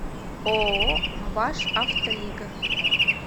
ооо башавтолига